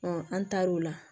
an taar'o la